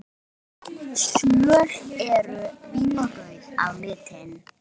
Söl eru vínrauð á litinn.